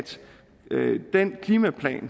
den klimaplan